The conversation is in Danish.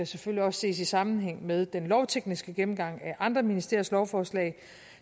selvfølgelig også ses i sammenhæng med den lovtekniske gennemgang af andre ministeriers lovforslag